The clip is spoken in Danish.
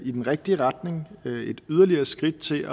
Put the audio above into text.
i den rigtige retning et yderligere skridt til